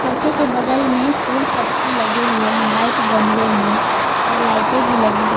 सोफे के बगल मे फूल पत्ती लगे हुएं हैं व्हाइट गमलों में और लाइटें भी लगी हुईं--